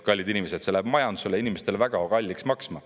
Kallid inimesed, see läheb majandusele ja inimestele väga kalliks maksma.